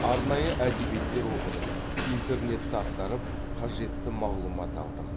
арнайы әдебиеттер оқыдым интернетті ақтарып қажетті мағлұмат алдым